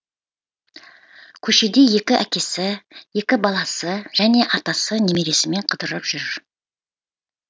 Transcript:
көшеде екі әкесі екі баласы және атасы немересімен қыдырып жүр